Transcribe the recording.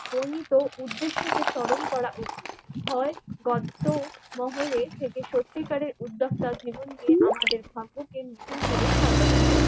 বর্ণিত উদ্দেশ্যকে স্মরণ করা উচিত। হয় গর্ত মহলে সত্যি কারের উদ্যোক্তা জীবন নিয়ে আমাদের ভাবকে নতুন করে সাজাতে হবে।